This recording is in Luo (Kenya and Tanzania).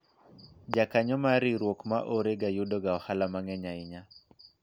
jakanyo mar riwruok ma ore yudo ga ohala mang'eny ahinya